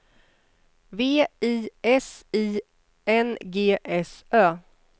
V I S I N G S Ö